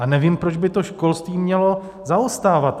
A nevím, proč by to školství mělo zaostávat.